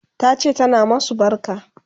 Tace tana masu barka